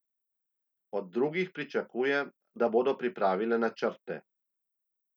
Od drugih pričakuje, da bodo pripravile načrte.